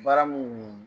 Baara mun